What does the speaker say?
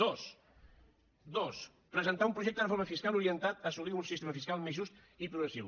dos dos presentar un projecte de reforma fiscal orientat a assolir un sistema fiscal més just i progressiu